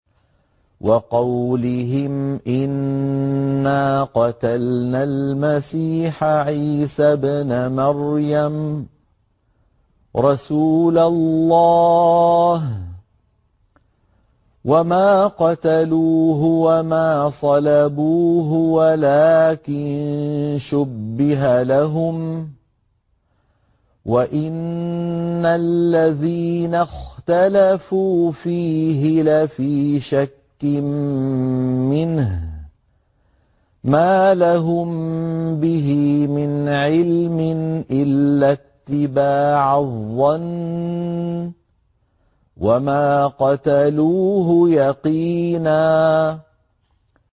وَقَوْلِهِمْ إِنَّا قَتَلْنَا الْمَسِيحَ عِيسَى ابْنَ مَرْيَمَ رَسُولَ اللَّهِ وَمَا قَتَلُوهُ وَمَا صَلَبُوهُ وَلَٰكِن شُبِّهَ لَهُمْ ۚ وَإِنَّ الَّذِينَ اخْتَلَفُوا فِيهِ لَفِي شَكٍّ مِّنْهُ ۚ مَا لَهُم بِهِ مِنْ عِلْمٍ إِلَّا اتِّبَاعَ الظَّنِّ ۚ وَمَا قَتَلُوهُ يَقِينًا